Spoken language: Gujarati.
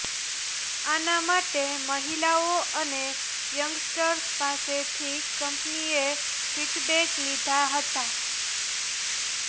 આના માટે મહિલાઓ અને યંગસ્ટર્સ પાસેથથી કંપનીએ ફિડબેક લીધા હતા